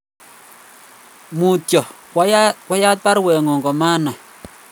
Mutyo kwayat baruengung' ko manai